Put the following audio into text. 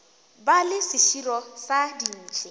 ba le seširo sa dintšhi